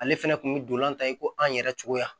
Ale fɛnɛ kun bɛ dolan ta i ko an yɛrɛ cogoya